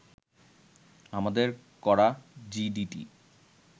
আমাদের করা জিডিটি